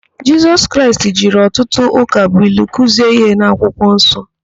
Jisọs Kraịst jiri ọtụtụ ụkabụilu kuzie íhé n'akwụkwọ nsọ.